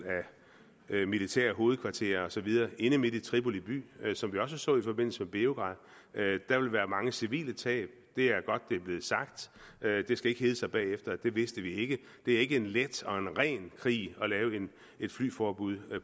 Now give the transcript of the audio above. militære hovedkvarterer og så videre inde midt i tripoli by som vi også så i forbindelse med beograd der vil være mange civile tab det er godt det er blevet sagt det skal ikke hedde sig bagefter at det vidste vi ikke det er ikke en let og en ren krig at lave et flyforbud